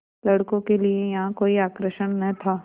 लड़कों के लिए यहाँ कोई आकर्षण न था